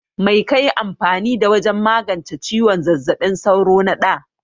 Mai kaƴi amfani da wajen magance ciwon zazzabin sauro na ɗa?